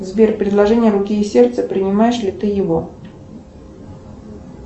сбер предложение руки и сердца принимаешь ли ты его